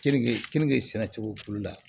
Keninke keninke sɛnɛ cogo olu la